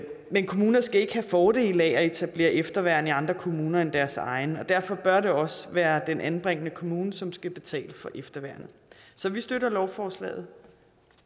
men kommuner skal ikke have fordele af at etablere efterværn i andre kommuner end deres egen derfor bør det også være den anbringende kommune som skal betale for efterværnet så vi støtter lovforslaget